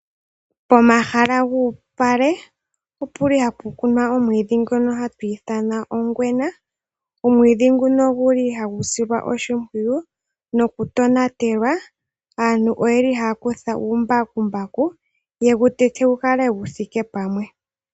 Pomahala guupale opuli hapu kunwa omwiidhi ngono hatu ithanwa ongwena. Omwiidhi nguno oguli hagu silwa oshimpwiyu noku tonatelwa. Aantu oyeli haya kutha uumbakumbaku ye gutete gukale guthike pamwe.